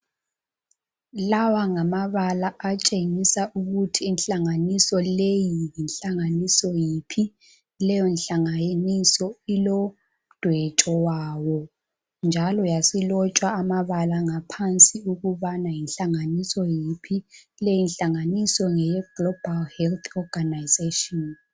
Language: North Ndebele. lawa ngamabala atshengisa ukuthi inhlanganiso leyo yinhlanganiso yiphi leyo nhlanganiso ilodwetsho lwayo njalo yasilotshwa amabala ngaphansi ukubana yinhlanganiso yiphi leyo nhlanganiso ngeye Global health organisation